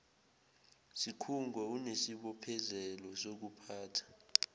sikhungo unesibophezelo sokuphatha